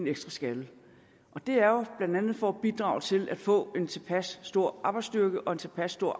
ekstra skalle og det er jo blandt andet for at bidrage til at få en tilpas stor arbejdsstyrke og en tilpas stor